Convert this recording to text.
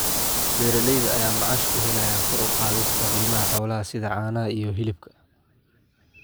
Beeralayda ayaa macaash ku helaya kor u qaadista qiimaha xoolaha sida caanaha iyo hilibka.